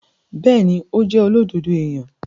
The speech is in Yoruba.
Bẹẹni, o jẹ olododo eniyan